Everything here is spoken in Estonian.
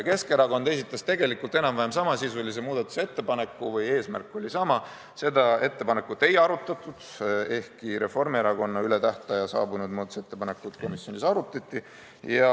Keskerakond esitas tegelikult enam-vähem samasisulise muudatusettepaneku või eesmärk oli sama, seda ettepanekut ei arutatud, ehkki Reformierakonna üle tähtaja saabunud muudatusettepanekut komisjonis arutati.